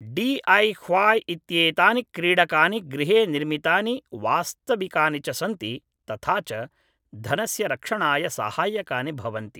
DIY. इत्येतानि क्रीडकानि गृहे निर्मितानि वास्तविकानि च सन्ति तथा च धनस्य रक्षणाय साहाय्यकानि भवन्ति!